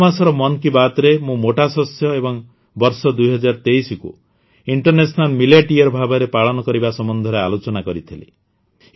ଗତମାସର ମନ୍ କି ବାତ୍ରେ ମୁଁ ମୋଟା ଶସ୍ୟ ଏବଂ ବର୍ଷ ୨୦୨୩କୁ ଇଣ୍ଟରନ୍ୟାସନାଲ ମିଲେଟ୍ ୟିୟର ଭାବରେ ପାଳନ କରିବା ସମ୍ବନ୍ଧରେ ଆଲୋଚନା କରିଥିଲି